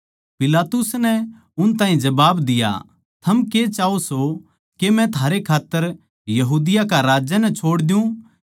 पिलातुस नै उन ताहीं जबाब दिया थम के चाह्वो के मै थारै खात्तर यहूदिया कै राजै नै छोड़ दियुँ